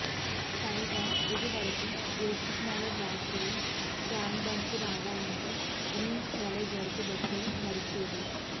పైగా ఇదివరకు దిల్సుఖ్నగర్ వాసులు ట్యాంక్బండ్కు రావాలంటే ఉమెన్స్ కాలేజ్ వరకే బస్సులు నడిచేవి